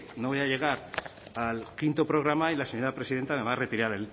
no voy a llegar al quinto programa y la señora presidenta me va a retirar